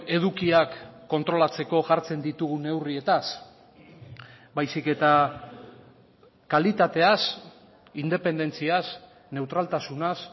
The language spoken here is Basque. edukiak kontrolatzeko jartzen ditugun neurrietaz baizik eta kalitateaz independentziaz neutraltasunaz